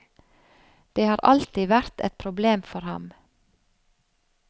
Det har alltid vært et problem for ham.